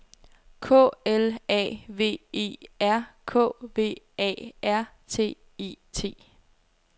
K L A V E R K V A R T E T